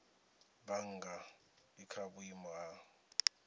bannga i kha vhuimo ha